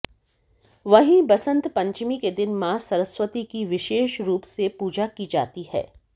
वहीं बसंत पंचमी के दिन मां सरस्वती की विशेष रूप से पूजा की जाती है